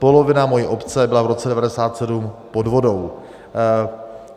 Polovina mojí obce byla v roce 1997 pod vodou.